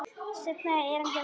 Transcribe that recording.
Seinna erindið var svona: